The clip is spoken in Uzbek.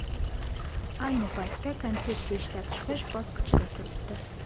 Ayni paytda konsepsiya ishlab chiqish bosqichida turibdi.